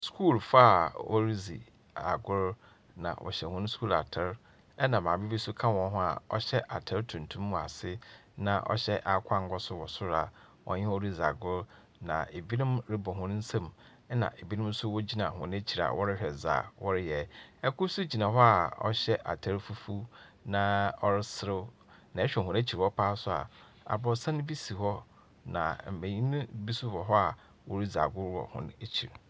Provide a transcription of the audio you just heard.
Skulfoɔ a wɔridzi agor, na wɔhyɛ hɔn skul atar, ɛnna maame bi nso ka hɔn ho a ɔhyɛ atar tuntum wɔ ase, na ɔhyɛ akokɔ angua nso wɔ soro a ɔne hɔn ridzi agor, na ebinom rebɔ hɔn nsam, ɛnna ebinom nso wogyina hɔn ekyir a wɔrehwɛ dze a wɔreyɛ. Kor nso gyina hɔ a ɔhyɛ atar fufuw na ɔreserew. Na ɛhwɛ wɔn ekyir hɔ pa ara nso a, aborosan bi si hɔ, na mbenyin bi nso wɔ hɔ a woridzi agor wɔ hɔn ekyir.